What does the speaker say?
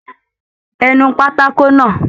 Ẹ nu pátákó náà!